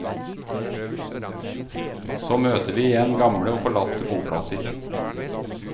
Så møter vi igjen gamle og forlatte boplasser.